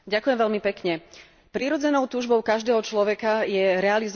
Prirodzenou túžbou každého človeka je realizovať svoj potenciál.